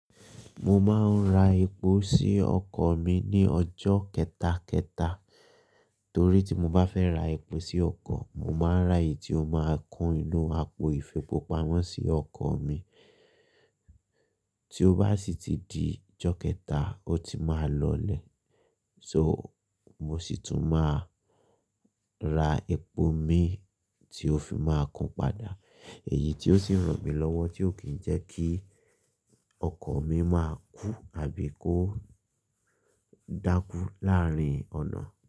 Mo máa ń ra epo sí ọkọ̀ mi ní ọjọ́ kẹta, kẹta. Torí tí mo bá fẹ́ ra epo sí ọkọ̀, mo máa ń rà èyí tí ó máa kun inú àpò ifipamo sí ọkọ̀ mi. Tí ó bá sì ti di ọjọ́ kẹta, ó ti máa lọlẹ̀. So, mo sì tún máa ra epo mí tí ó fi máa kun padà, èyí tí ó sì ràn mí lọ́wọ́ tí ò kí ń jẹ́ kí ọkọ̀ mi máa kú àbí kó dákú láàárín ọ̀nà.